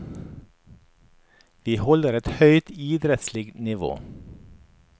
Vi holder et høyt idrettslig nivå.